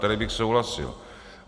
Tady bych souhlasil.